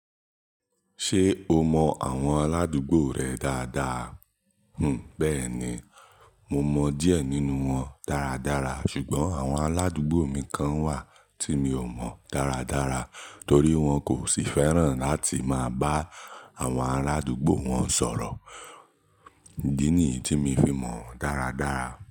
Ṣé o mọ àwọn aládùúgbò rẹ dáadáa? Hm, bẹ́ẹ̀ni, mo mọ díẹ̀ nínú wọn dáradára ṣùgbọ́n àwọn aládùúgbò mi kan wà tí mi ò mọ dáradára torí wọn kò sì fẹ́ràn láti máa bá àwọn arádúgbò wọn sọ̀rọ̀. Idí nìyí tí mi fi mọ̀ wọ́n dáradára.